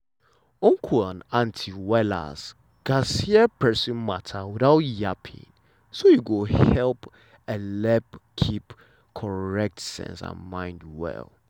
uncle and auntie um gatz hear persin matter without yabbing so e go helep keep um sense and mind well.